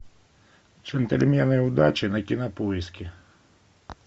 джентльмены удачи на кинопоиске